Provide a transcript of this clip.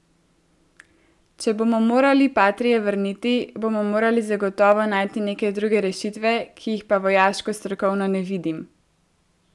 Če bomo morali patrie vrniti, bomo morali zagotovo najti neke druge rešitve, ki jih pa vojaško strokovno ne vidim.